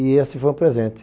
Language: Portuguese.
E esse foi um presente.